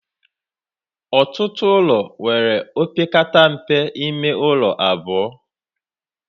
Ọtụtụ ụlọ nwere opekata mpe ime ụlọ abụọ